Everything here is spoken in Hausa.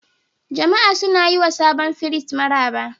Jama'a suna yi ma sabon firist maraba.